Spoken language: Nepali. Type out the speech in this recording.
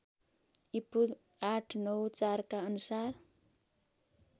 ईपू ८९४ का अनुसार